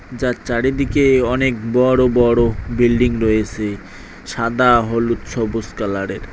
যা চারিদিকে অনেক বড় বড় বিল্ডিং রয়েছে সাদা হলুদ সবুজ কালারের।